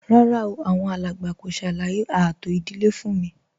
Rárá o, àwọn alàgbà kò ṣàlàyé ààtò ìdílé fún m